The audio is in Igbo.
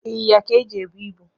Ịnyịnya ka eji ebu ibu